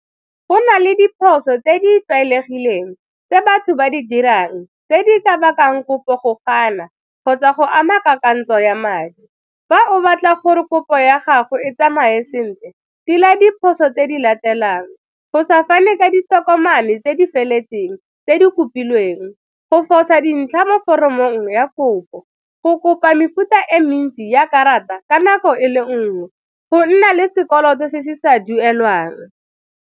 Go na le diphoso tse di tlwaelegileng tse batho ba di dirang tse di ka bakang kopo go gana kgotsa go ama kakantsho ya madi. Fa o batla gore kopo ya gago e tsamaye sentle tila diphoso tse di latelang, go sa fane ka ditokomane tse di feletseng tse di kopilweng, go fosa dintlha mo foromong ya kopo, go kopa mefuta e mentsi ya karata ka nako e le nngwe, go nna le sekoloto se se sa duelwang.